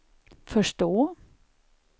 förstå